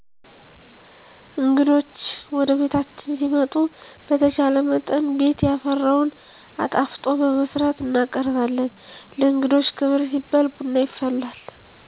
እንግዶች ወደቤታችን ሲመጡ በተቻለመጠን ቤት ያፈራውን አጣፍጦ በመስራት እንቀበላለን። ለእንግዶች ክብር ሲባል ቡና ይፈላል።